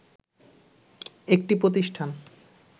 একটি প্রতিষ্ঠান